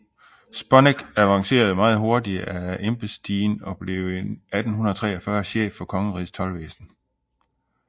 Sponneck avancerede meget hurtigt ad embedsstigen og blev i 1843 chef for kongerigets toldvæsen